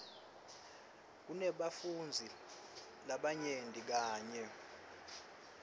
kunebafundzi labanyenti kanye